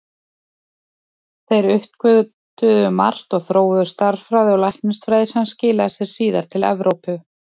Þeir uppgötvuðu margt og þróuðu stærðfræði og læknisfræði sem skilaði sér síðar til Evrópu.